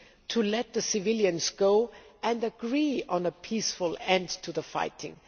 to let the civilians go and agree on a peaceful end to the fighting.